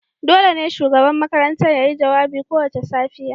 dole ne shugaban makarantar ya yi jawabi kowace safiya